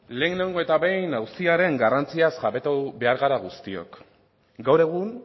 lehenengo eta behin auziaren garrantziaz jabetu behar gara guztiok gaur egun